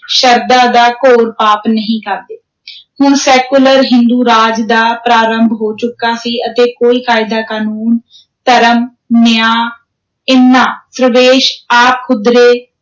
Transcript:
ਸ਼ਰਧਾ ਦਾ ਘੋਰ ਪਾਪ ਨਹੀਂ ਕਰਦੇ ਹੁਣ ਸੈਕੂਲਰ ਹਿੰਦੂ-ਰਾਜ ਦਾ ਪ੍ਰਾਰੰਭ ਹੋ ਚੁੱਕਾ ਸੀ ਅਤੇ ਕੋਈ ਕਾਇਦਾ ਕਾਨੂੰਨ ਧਰਮ, ਨਿਆਂ, ਇਨ੍ਹਾਂ ਪ੍ਰਵੇਸ਼, ਆਪ-ਹੁਦਰੇ,